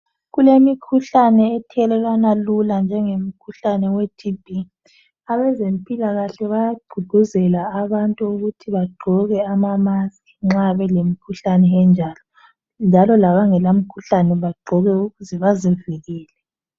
Kulemikhuhlane ethelelwana lula njengemikhuhlane ye thimbi. Abezempikahle bayagququzela abantu ukuthi begqoke amamask nxa belemkhuhlane njalo, njalo labangela mkhuhlane bagqoke ukuze bazivikele.